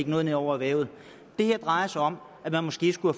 noget ned over erhvervet det her drejer sig om at man måske skulle